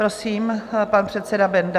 Prosím, pan předseda Benda.